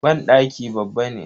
Banɗaki babba ne.